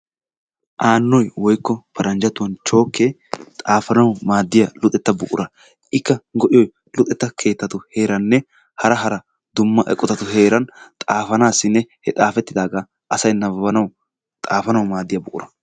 Aannoy woykko paranjjatuwan chookkee xaafanawu maadiya luxxetta buqura, ikka go'iyoy luxxeeta keetatu heeranne hara hara dumma eqotatu heeran xafanassinne he xaafettidaaga asay nababbanawu xaafanawu maadiya buqura.